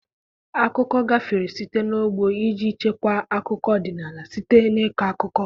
Akụkọ gafere site n'ọgbọ iji chekwaa akụkọ ọdịnala, site na ịkọ akụkọ.